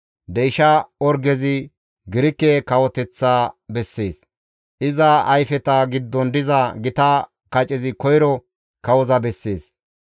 Deyshsha orgezi Girike kawoteththa bessees; iza ayfeta giddon diza gita kacezi koyro kawoza bessees.